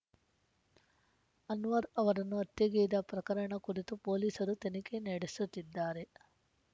ಅನ್ವರ್ ಅವರನ್ನು ಹತ್ಯೆಗೈದ ಪ್ರಕರಣ ಕುರಿತು ಪೊಲೀಸರು ತನಿಖೆ ನಡೆಸುತ್ತಿದ್ದಾರೆ